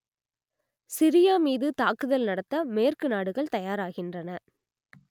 Syria மீது தாக்குதல் நடத்த மேற்கு நாடுகள் தயாராகின்றன